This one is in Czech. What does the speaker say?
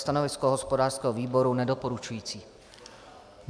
Stanovisko hospodářského výboru - nedoporučující.